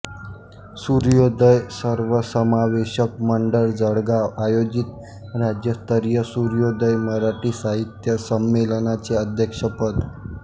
सूर्योदय सर्वसमावेशक मंडळ जळगाव आयोजित राज्यस्तरीय सूर्योदय मराठी साहित्य संमेलनाचे अध्यक्षपद